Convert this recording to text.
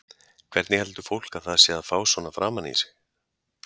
Hvernig heldur fólk að það sé að fá svona framan í sig?